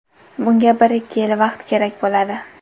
Bunga bir-ikki yil vaqt kerak bo‘ladi.